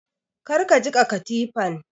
Kar ka jiƙa katifan!